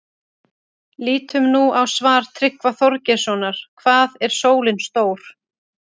Lítum nú á svar Tryggva Þorgeirssonar, Hvað er sólin stór?